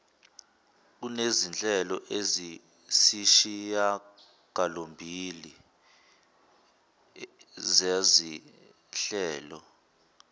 kunezinhlelo eziyisishiyagalombili zezinhlelo